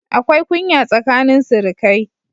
Akwai kunya tsakanin sirikai